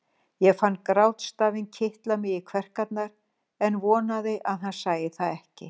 Ég fann grátstafinn kitla mig í kverkarnar en vonaði að hann sæi það ekki.